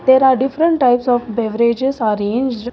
There are different types of beverages arranged.